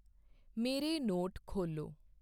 ਮੇਰੇ ਨੋਟ ਖੋਲ੍ਹੋ